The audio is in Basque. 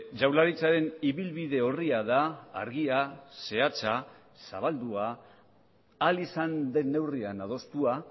jaurlaritzaren ibilbide orria da argia zehatza zabaldua ahal izan den neurrian adostua